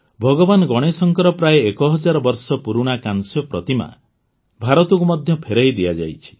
ଭଗବାନ ଗଣେଶଙ୍କର ପ୍ରାୟ ଏକ ହଜାର ବର୍ଷ ପୁରୁଣା କାଂସ୍ୟ ପ୍ରତିମା ମଧ୍ୟ ଭାରତକୁ ଫେରାଇ ଦିଆଯାଇଛି